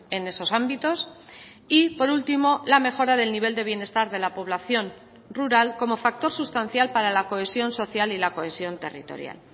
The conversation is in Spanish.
en esos ámbitos y por último la mejora del nivel de bienestar de la población rural como factor sustancial para la cohesión social y la cohesión territorial